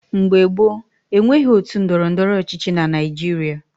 Mgbe gboo, e nweghị otu ndọrọndọrọ ọchịchị na Naijiria.